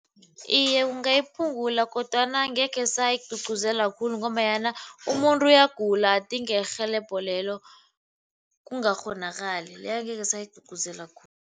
Iye, kungayiphungula kodwana angekhe sayigcugcuzela khulu ngombanyana umuntu uyagula adinge irhelebho lelo kungakghonakali leyo angeke sayigcugcuzela khulu.